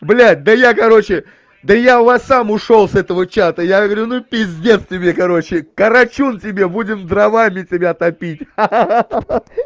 блять да я короче да я у вас сам ушёл с этого чата я говорю ну пиздец тебе короче карачун тебе будем дровами тебя топить ха-ха